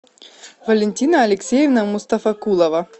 валентина алексеевна мустафакулова